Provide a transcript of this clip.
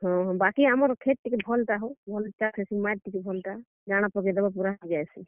ହଁ, ବାକି ଆମର୍ କ୍ଷେତ୍ ଟିକେ ଭଲ୍ ଟା ହୋ, ଭଲ୍ ଚାଷ୍ ହେସି, ମାଏଟ୍ ଟିକେ ଭଲ ଟା। ଜାଣା ପକେଇ ଦେବ ପୁରା ହେଇ ଯାଏସି।